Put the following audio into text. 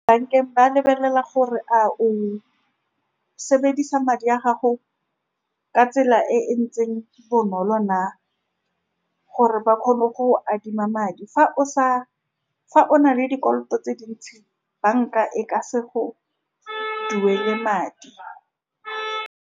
Bankeng ba lebelela gore a o sebedisa madi a gago ka tsela e ntseng bonolo na, gore ba kgone go go adima madi fa o sa, fa o na le dikoloto tse dintsi, banka e ka se go duele madi.